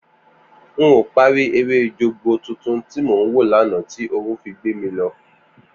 N ò parí eré Jogbo tuntun tí mò ń wò lánàá tí oorun fi gbé mi lọ